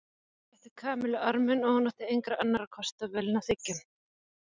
Keli rétti Kamillu arminn og hún átti engra annarra kosta völ en að þiggja hann.